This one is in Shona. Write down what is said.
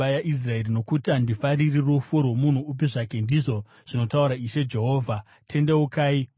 Nokuti handifariri rufu rwomunhu upi zvake, ndizvo zvinotaura Ishe Jehovha. Tendeukai murarame!